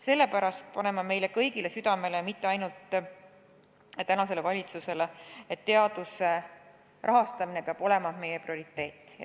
Sellepärast panen ma meile kõigile südamele – mitte ainult valitsusele –, et teaduse rahastamine peab olema meie prioriteet.